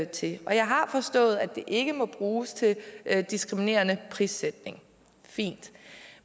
til jeg har forstået at det ikke må bruges til diskriminerende prissætning fint